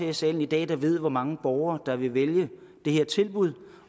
i salen i dag der ved hvor mange borgere der vil vælge det her tilbud